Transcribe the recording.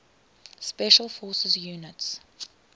special forces units